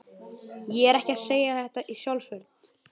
Ég er ekki að segja þetta í sjálfsvörn.